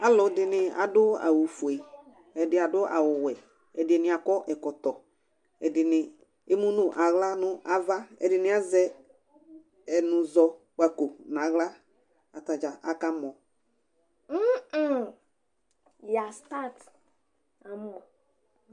Alʊ ɛdɩnɩ adʊ awʊ fʊe, ɛdɩ adʊ awʊ wɛ, ɛdɩnɩ akɔ ɛkɔtɔ, ɛdɩnɩ emʊ nʊ awla nava, ɛdɩnɩ azɛ ɛnʊzɔkpako nawla kata dza aka mɔ